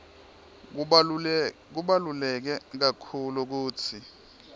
kubaluleke kakhulu kutsi